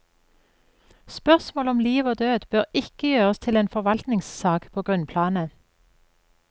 Spørsmål om liv og død bør ikke gjøres til en forvaltningssak på grunnplanet.